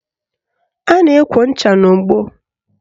A na-ekwo ncha n'ogbo